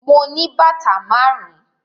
Mo ní bàtà márùn-ún.